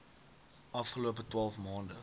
afgelope twaalf maande